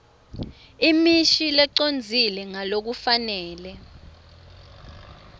imisho lecondzile ngalokufanele